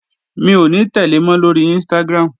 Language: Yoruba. Mi ò ní tẹ̀le mọ́ lóri Instagram